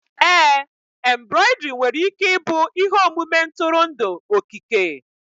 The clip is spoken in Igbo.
ee embroidery nwere ike ịbụ ihe omume ntụrụndụ okike